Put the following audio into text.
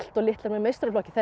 litlar með meistaraflokki þetta